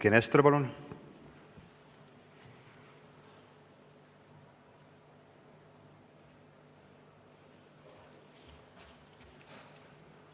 Eiki Nestor, palun!